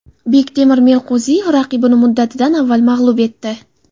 Bektemir Meliqo‘ziyev raqibini muddatidan avval mag‘lub etdi.